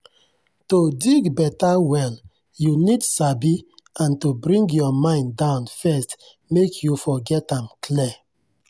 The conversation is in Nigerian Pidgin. to dig better well you need sabi and to bring your mind down first make you for get am clear.